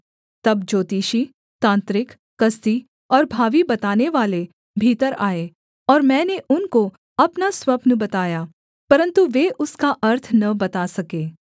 तब ज्योतिषी तांत्रिक कसदी और भावी बतानेवाले भीतर आए और मैंने उनको अपना स्वप्न बताया परन्तु वे उसका अर्थ न बता सके